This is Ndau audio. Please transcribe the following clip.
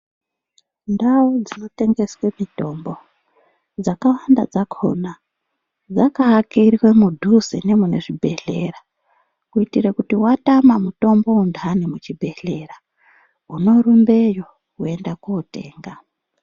Ndau dzinotengeswa mitombo dzakawanda dzakona dzakaakirwa mudhuze nemunezvibhedhlera kuitire kuti watama mutombo wendani muchibhedhlera unorumbeyo woenda kotenga.